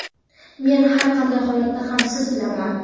Men har qanday holatda ham siz bilanman.